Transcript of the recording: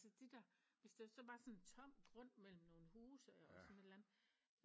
Altså det der hvis der så var sådan en tom grund mellem nogle huse og sådan et eller andet